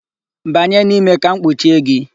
Banye n'ime ka m kpuchie gị!